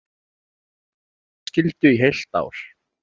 Frí frá skólaskyldu í heilt ár